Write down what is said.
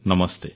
ନମସ୍ତେ